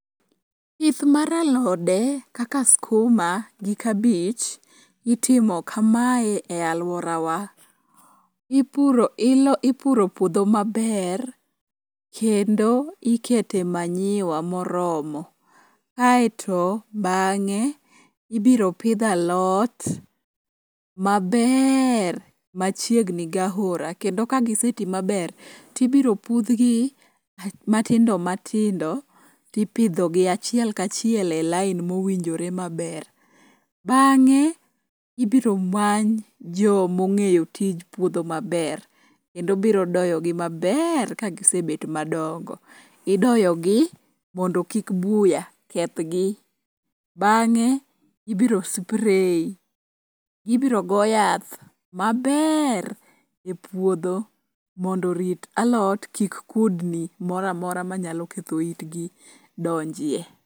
Pith mar alode kaka skuma gi kabich itimo kamae e alworawa. Ipuro puodho maber kendo ikete manyiwa moromo kaeto bang'e ibiro pidh alot maber machiegni gahora kendo kagiseti maber tibiro pudhgi matindo matindo tipidhogi achiel kachiel e lain mowinjore maber. Bang'e ibiro many jomong'eyo tij puodho maber kendo biro doyogi maber kagisebet madongo. Idoyogi mondo kik buya kethgi, bang'e ibiro spray, ibro go yath maber e puodho mondo orit alot kik kudni moro amora manyalo ketho itgi donjie.